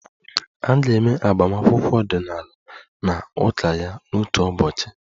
A ga-eme agbamakwụkwọ ọdịnala na ụka ya n'otu ụbọchị